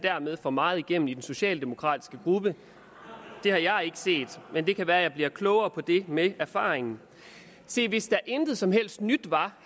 får meget igennem i den socialdemokratiske gruppe det har jeg ikke set men det kan være jeg bliver klogere på det med erfaringen hvis der intet som helst nyt var